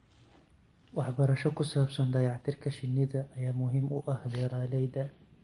Waxbarasho ku saabsan dayactirka shinnida ayaa muhiim u ah beeralayda.